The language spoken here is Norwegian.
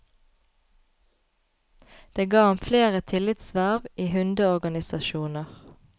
Det ga ham flere tillitsverv i hundeorganisasjoner.